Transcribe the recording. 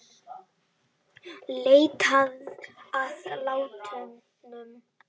Leitað að látnum